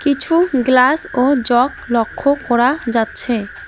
কিছু গ্লাস ও জগ লক্ষ্য করা যাচ্ছে।